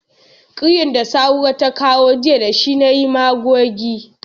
Kiryan da Sahura ta kawo jiya da shi na yi magogi.